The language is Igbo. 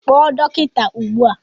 Kpọọ dọkịta ugbu a!